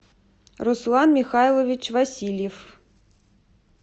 руслан михайлович васильев